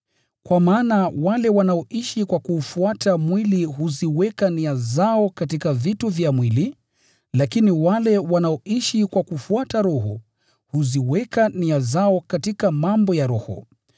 Kwa maana wale wanaoishi kwa kuufuata mwili huziweka nia zao katika vitu vya mwili, lakini wale wanaoishi kwa kufuata Roho, huziweka nia zao katika mambo ya Roho.